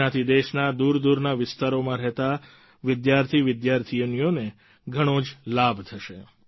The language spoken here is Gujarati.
તેનાથી દેશના દૂરદૂરના વિસ્તારોમાં રહેતા વિદ્યાર્થીવિધ્યાર્થિનીઓને ઘણો જ લાભ થશે